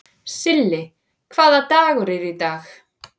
Silli, hvaða dagur er í dag?